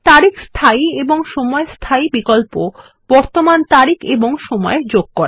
তারিখ স্থায়ী এবং সময় স্থায়ী বিকল্প বর্তমান তারিখ এবং সময় যোগ করে